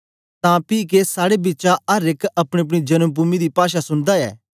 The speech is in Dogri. तां पी कि साड़े बिचा अर एक अपनीअपनी जन्म पूमि दी भाषा सुनदा ऐ